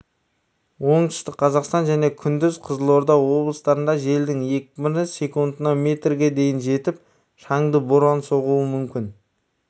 оңтүстік қазақстан және күндіз қызылорда облыстарында желдің екпіні секундына метрге дейін жетіп шаңды боран соғуы мүмкін